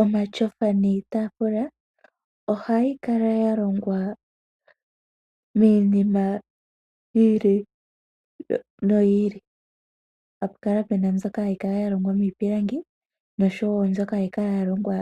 Omatyofa niitaafula ohayi kala ya longwa miinima yi ili noyi ili. Ohapu kala pu na mbyoka ya longwa miipilangi nosho wo mbyoka hayi kala ya longwa